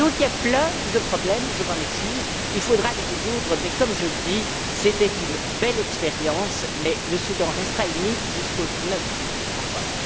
Donc, il y a plein de problèmes je m'en excuse et il faudra les résoudre mais, comme je l'ai dit, c'était une belle expérience, mais le Soudan restera uni jusqu'au 9 juillet encore.